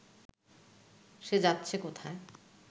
সে যাচ্ছে কোথায়